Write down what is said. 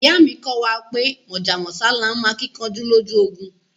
Iya mi ko wa pe Mojá mósá laa n mo akinkanju loju ogun